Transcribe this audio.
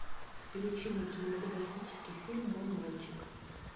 включи мне кинематографический фильм мой мальчик